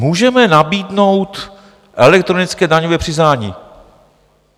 Můžeme nabídnout elektronické daňové přiznání.